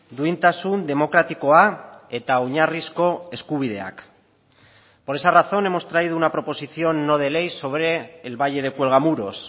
duintasun demokratikoa eta oinarrizko eskubideak por esa razón hemos traído una proposición no de ley sobre el valle de cuelgamuros